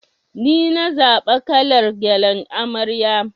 Nina zaɓa kalar gyallan amarya.